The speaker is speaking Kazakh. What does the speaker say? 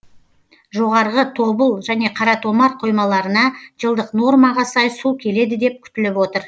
жоғарғы тобыл және қаратомар қоймаларына жылдық нормаға сай су келеді деп күтіліп отыр